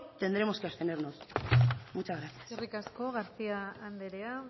tendremos que abstenernos muchas gracias eskerrik asko garcía andrea